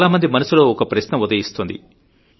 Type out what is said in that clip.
చాలామంది మనసులో ఒక ప్రశ్న ఉదయిస్తోంది